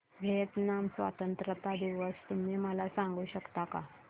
Vietnam स्वतंत्रता दिवस तुम्ही मला सांगू शकता का